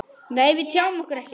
Nei, við tjáum okkur ekkert.